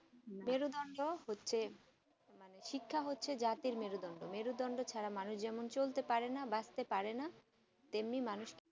মেরুদন্ড হচ্ছে শিক্ষা হচ্ছে জাতির মেরুদন্ড মেরুদন্ড ছাড়া মানুষ যেমন চলতে পারে না বাঁচতে পারেনা তেমনি মানুষ